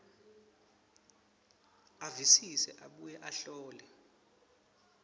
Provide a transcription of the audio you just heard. avisise abuye ahlole